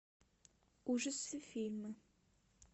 ужасы фильмы